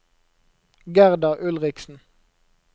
Gerda Ulriksen